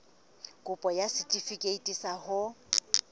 kopo ya setefikeiti sa ho